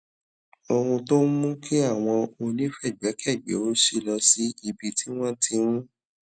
ohun tó ń mú kí àwọn onífègbékègbé ò ṣí lọ sí ibi tí wọn ti ń